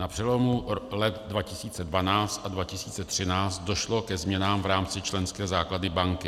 Na přelomu let 2012 a 2013 došlo ke změnám v rámci členské základny banky.